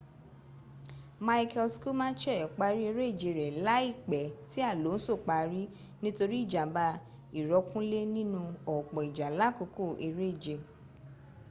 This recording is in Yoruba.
michael schumacher parí eréje rẹ̀ láìpẹ́ tí alonso parí nítori ìjàm̀bá ìrọ́kúnlé nínú ọ̀pọ̀ ìjà làkòókò eréje